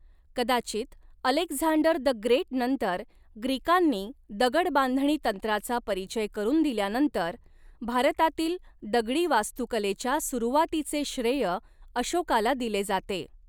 कदाचित Alexander the great नंतर ग्रीकांनी दगड बांधणी तंत्राचा परिचय करून दिल्यानंतर भारतातील दगडी वास्तुकलेच्या सुरुवातीचे श्रेय अशोकाला दिले जाते.